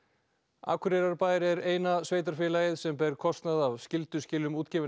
Akureyrarbær er eina sveitarfélagið sem ber kostnað af skylduskilum útgefinna